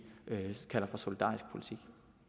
kalder for solidarisk politik